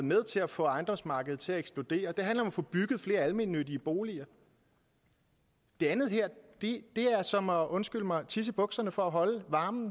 med til at få ejendomsmarkedet til at eksplodere det handler om at få bygget flere almennyttige boliger det andet her er som at undskyld mig tisse i bukserne for at holde varmen